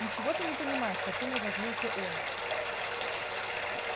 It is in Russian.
ничего ты не понимаешь совсем разозлился он